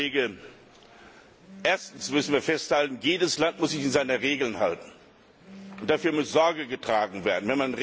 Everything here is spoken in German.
Herr Kollege, erstens müssen wir festhalten, jedes Land muss sich an seine Regeln halten, und dafür muss Sorge getragen werden.